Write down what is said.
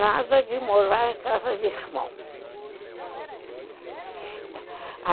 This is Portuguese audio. Nada de morar em casa de irmão.